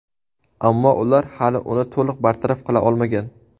Ammo ular hali uni to‘liq bartaraf qila olmagan.